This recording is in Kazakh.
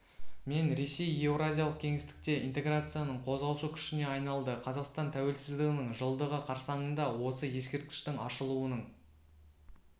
мен ресей еуразиялық кеңістікте интеграцияның қозғаушы күшіне айналды қазақстан тәуелсіздігінің жылдығы қарсаңында осы ескерткіштің ашылуының